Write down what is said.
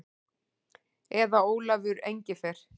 Eða Ólafur Engifer.